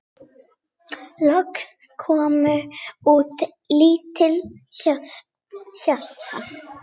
Loks kom út lítið hjarta